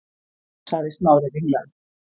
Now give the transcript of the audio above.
sagði Smári ringlaður.